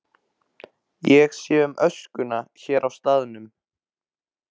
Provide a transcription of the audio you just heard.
Ég sé um öskuna hér á staðnum.